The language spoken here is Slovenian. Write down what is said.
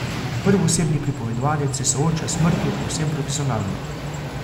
Prvoosebni pripovedovalec se sooča s smrtjo povsem profesionalno.